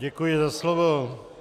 Děkuji za slovo.